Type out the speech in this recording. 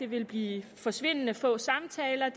vil blive forsvindende få samtaler